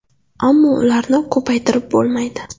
Ammo ularni ko‘paytirib bo‘lmaydi.